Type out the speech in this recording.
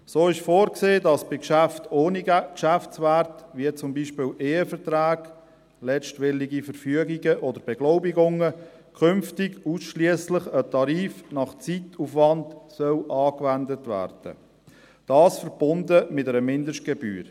So ist vorgesehen, dass bei Geschäften ohne Geschäftswert, wie zum Beispiel Eheverträge, letztwillige Verfügungen oder Beglaubigungen, künftig ausschliesslich ein Tarif nach Zeitaufwand angewendet werden soll, dies verbunden mit einer Mindestgebühr.